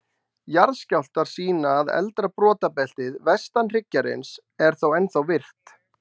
Jarðskjálftar sýna að eldra brotabeltið, vestan hryggjarins, er þó ennþá virkt.